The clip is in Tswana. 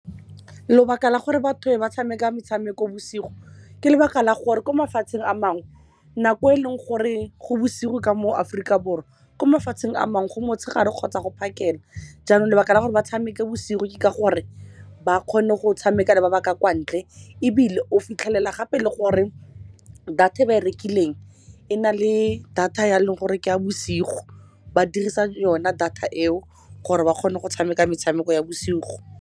Lebaka la gore batho ba tshameka metshameko bosigo ke ka lebaka la gore ko mafatsheng a mangwe, nako eleng gore go bosigo ka mo Aforika Borwa, ko mafatsheng a mangwe go motshegare kgotsa go phakela. Jaanong lebaka la gore ba tshameke bosigo ke gore ba kgone go tshameka le ba baka kwa ntle, ebile o fitlhelela gape le gore data e ba e rekileng e na le data ya, leng gore ke ka bosigo ba dirisa yona data eo gore ba kgone go tshameka metshameko ya bosigo.